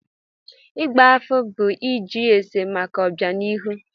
Ịgba afa bụ ịjụ ese maka ọbịanihu.